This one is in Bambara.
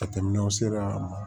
Ka tɛmɛ aw sera